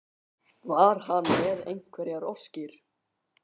Var hann með einhverjar óskir?